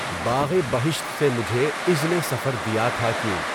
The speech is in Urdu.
باغِ بہشت سے مجھے اذنِ سفر دیا تھا کیوں